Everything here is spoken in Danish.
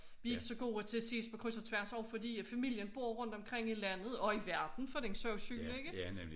Vi ikke så gode til at ses på kryds og tværs også fordi at familien bor omkring i landet og i verden for den sags skyld ikke